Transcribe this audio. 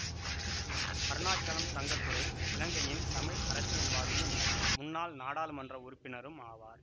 அருணாசலம் தங்கத்துரை இலங்கையின் தமிழ் அரசியல்வாதியும் முன்னாள் நாடாளுமன்ற உறுப்பினரும் ஆவார்